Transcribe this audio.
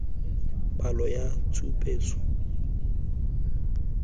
palo ya tshupetso ya faele